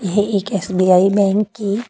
यह एक SBI. Bank की --